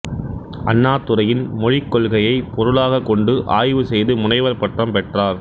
அண்ணாதுரையின் மொழிக்கொள்கையைப் பொருளாகக் கொண்டு ஆய்வு செய்து முனைவர் பட்டம் பெற்றார்